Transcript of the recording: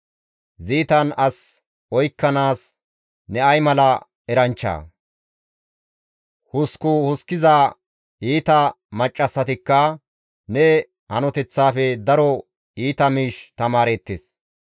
Ziitan as oykkanaas ne ay mala eranchchaa? Huskku huskkiza iita maccassatikka ne hanoteththaafe daro iita miish tamaareettes.